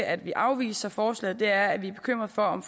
at vi afviser forslaget er at vi er bekymrede for om